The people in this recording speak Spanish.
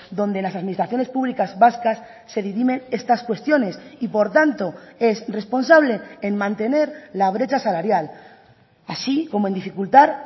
donde las administraciones públicas vascas se dirimen estas cuestiones y por tanto es responsable en mantener la brecha salarial así como en dificultar